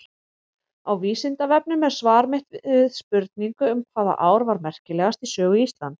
Á Vísindavefnum er svar mitt við spurningu um hvaða ár var merkilegast í sögu Íslands.